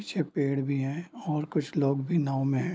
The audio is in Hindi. पीछे पेड़ भी है और कुछ लोग भी नाव में है।